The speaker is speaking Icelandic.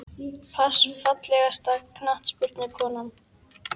pass Fallegasta knattspyrnukonan?